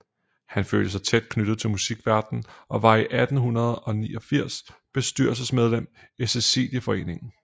Han følte sig tæt knyttet til musikverdenen og var fra 1889 bestyrelsesmedlem i Cæciliaforeningen